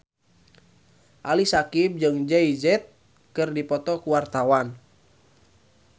Ali Syakieb jeung Jay Z keur dipoto ku wartawan